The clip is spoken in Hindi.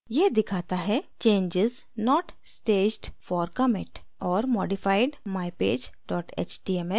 यह दिखाता है: changes not staged for commit: और modified: mypage html